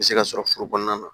U bɛ se ka sɔrɔ foro kɔnɔna na